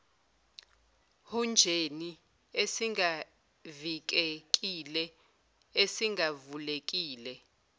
hunjeni esingavikekile esingavulekile